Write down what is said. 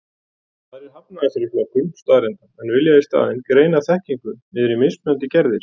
Aðrir hafna þessari flokkun staðreynda, en vilja í staðinn greina þekkingu niður í mismunandi gerðir.